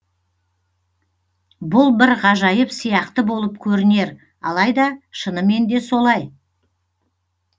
бұл бір ғажайып сияқты болып көрінер алайда шынымен де солай